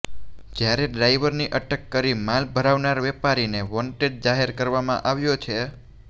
જ્યારે ડ્રાઇવરની અટક કરી માલ ભરાવનાર વેપારીને વોન્ટેડ જાહેર કરવામાં આવ્યો છે